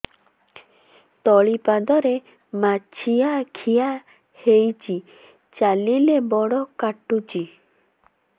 ତଳିପାଦରେ ମାଛିଆ ଖିଆ ହେଇଚି ଚାଲିଲେ ବଡ଼ କାଟୁଚି